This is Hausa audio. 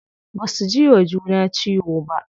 Baza su jiwa juna ciwo ba.